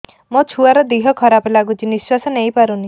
ମୋ ଛୁଆର ଦିହ ଖରାପ ଲାଗୁଚି ନିଃଶ୍ବାସ ନେଇ ପାରୁନି